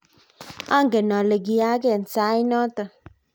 angen ale kiyaak end sait noto.